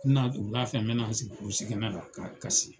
N mi na don, wulafɛ n bɛ na n sigi kurusi kɛnɛ la ka kasi.